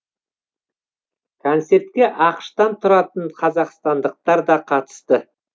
концертке ақш та тұратын қазақстандықтар да қатысты